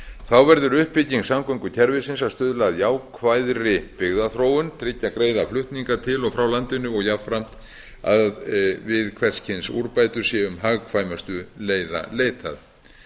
þá verður uppbygging samgöngukerfisins að stuðla að jákvæðri byggðaþróun tryggja greiða flutninga til og frá landinu og jafnframt að við hvers kyns úrbætur sé hagkvæmustu leiða leitað